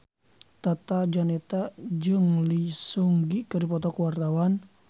Tata Janeta jeung Lee Seung Gi keur dipoto ku wartawan